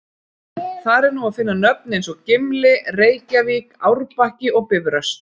Þar er nú að finna nöfn eins og Gimli, Reykjavík, Árbakki og Bifröst.